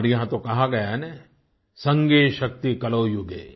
हमारे यहाँ तो कहा गया है न संघे शक्ति कलौ युगे